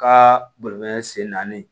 Ka bolifɛn sen naani